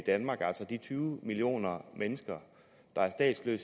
danmark altså at de tyve millioner mennesker